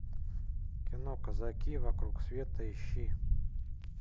кино казаки вокруг света ищи